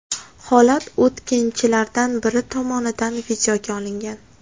Holat o‘tkinchilardan biri tomonidan videoga olingan.